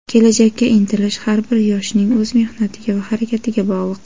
kelajakka intilish har bir yoshning o‘z mehnatiga va harakatiga bog‘liq.